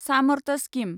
Samarth scheme